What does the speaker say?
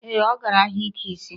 Ọ gara ahịa ike isi.